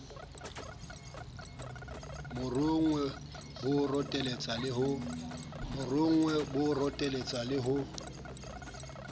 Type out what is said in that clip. morongwe bo rotetsa le ho